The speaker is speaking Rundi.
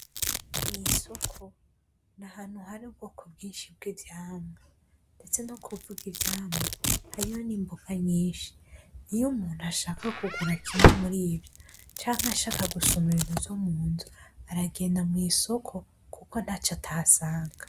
Mw'isoko nahantu hari ubwoko bwinshi bw'ivyamwa ndetse no kuvuga ivyamwa hariyo n'imboga nyinshi iyo umuntu ashaka kugura kimwe muri ivyo canke ashaka gusuma ivyo munzu aragenda mw'isoko kuko ntaco atahasanga